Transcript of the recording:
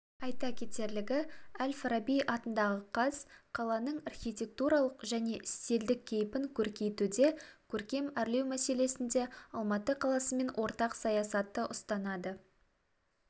айта кетерлігі әл-фараби атындағы қаз қаланың архитектуралық және стильдік кейпін көркейтуде көркем әрлеу мәселесінде алматы қаласымен ортақ саясатты ұстанады